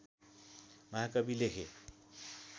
महाकवि लेखे